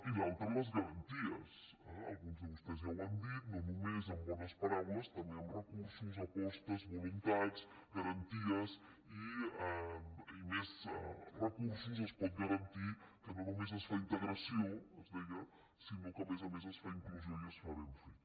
i l’altra les garanties alguns de vostès ja ho han dit no només amb bones paraules també amb recursos apostes voluntats garanties i més recursos es pot garantir que no només es fa integració es deia sinó que a més a més es fa inclusió i es fa ben feta